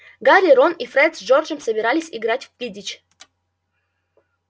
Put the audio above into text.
гарри рон и фред с джорджем собирались играть в квиддич